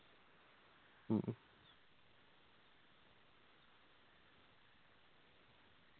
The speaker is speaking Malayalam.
മ്മ്